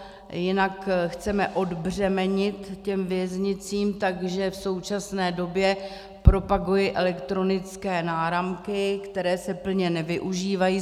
Jinak chceme odbřemenit těm věznicím, takže v současné době propaguji elektronické náramky, které se plně nevyužívají.